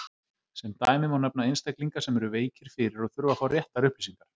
Sem dæmi má nefna einstaklinga sem eru veikir fyrir og þurfa að fá réttar upplýsingar.